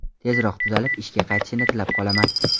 Tezroq tuzalib, ishga qaytishini tilab qolaman.